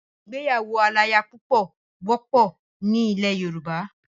Ìgbéyàwó aláyapúpọ̀ wọ́pọ̀ ni ilẹ̀ Yorùbá.